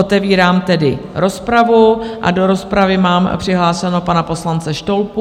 Otevírám tedy rozpravu a do rozpravy mám přihlášeného pana poslance Štolpu.